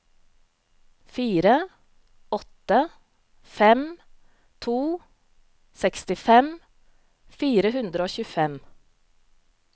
fire åtte fem to sekstifem fire hundre og tjuefem